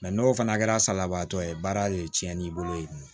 n'o fana kɛra salabaatɔ ye baara de cɛn n'i bolo ye